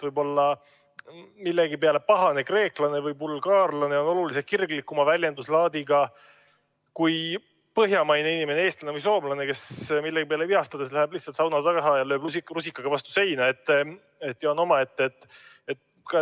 Võib-olla millegi peale pahane kreeklane või bulgaarlane on oluliselt kirglikuma väljenduslaadiga kui põhjamaine inimene, eestlane või soomlane, kes millegi peale vihastades läheb lihtsalt sauna taha ja lööb rusikaga vastu seina ja on omaette.